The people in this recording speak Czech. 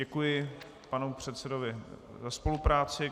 Děkuji panu předsedovi za spolupráci.